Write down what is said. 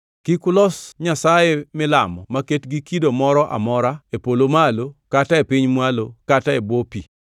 Kik ulos nyasaye milamo maket gi kido moro amora, e polo malo kata e piny mwalo kata e bwo pi.